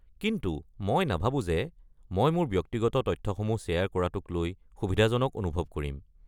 কিন্তু মই নাভাৱো যে মই মোৰ ব্যক্তিগত তথ্যসমূহ শ্বেয়াৰ কৰাটোক লৈ সুবিধাজনক অনুভৱ কৰিম।